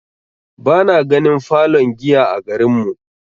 Bana ganin falon giya a garin mu.